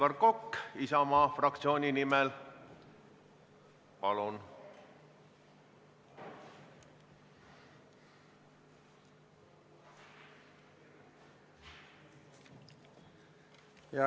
Aivar Kokk Isamaa fraktsiooni nimel, palun!